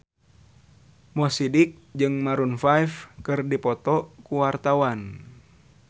Mo Sidik jeung Maroon 5 keur dipoto ku wartawan